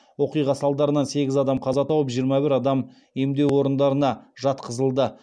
оқиға салдарынан сегіз адам қаза тауып жиырма бір адам емдеу орындарына жатқызылды